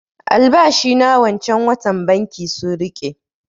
Albashi na wancan watan banki sun riƙe